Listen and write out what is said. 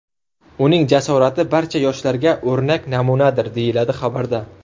Uning jasorati barcha yoshlarga o‘rnak namunadir, deyiladi xabarda.